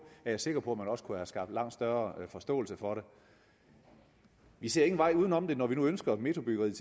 er jeg sikker på at man også kunne have skaffet langt større forståelse for det vi ser ingen vej udenom når vi nu ønsker at metrobyggeriet